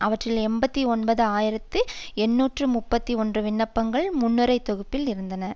அவற்றில் எண்பத்தி ஒன்பது ஆயிரத்தி எண்ணூற்று முப்பத்தி ஒன்று விண்ணப்பங்கள் முன்னுரிமை தொகுப்பில் இருந்தன